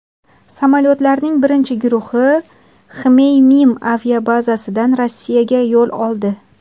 Samolyotlarning birinchi guruhi Xmeymim aviabazasidan Rossiyaga yo‘l oldi.